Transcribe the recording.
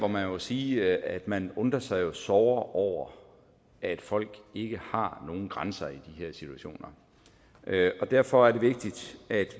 man må sige at man undrer sig såre over at folk ikke har nogen grænser i de her situationer derfor er det vigtigt at